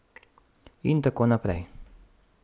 In tako naprej.